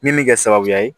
Min bɛ kɛ sababuya ye